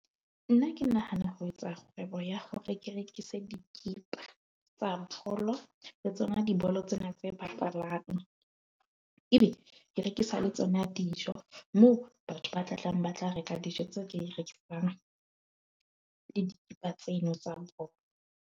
Nna ke nahana ho etsa kgwebo ya hore ke rekise dikipa tsa polo le tsona, dibolo tsena tse bapalang ebe ke rekisa le tsona dijo moo batho ba tla tlang ba tla reka le dikipa tseno tsa bolo.